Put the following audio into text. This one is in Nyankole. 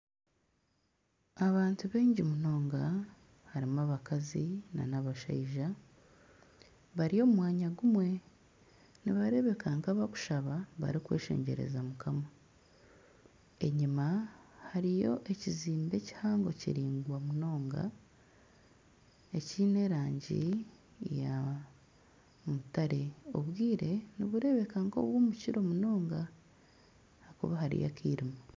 Abantu baingi munonga harimu abakazi nana abashaija bari omu mwanya gumwe nibareebeka nk'abarikweshengyereza barikushaba mukama, enyima hariyo ekizembe kihango kiraingwa munonga ekiine erangi ya mutare obwire nibureebeka nk'obw'omukiro munonga ahakuba hariyo akairima